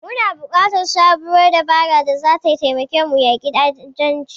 Muna buƙatar sabuwar dabara da zata taimaka mu yaƙi ta'addanci.